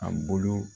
A bolo